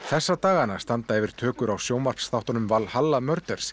þessa dagana standa yfir tökur á sjónvarpsþáttunum Valhalla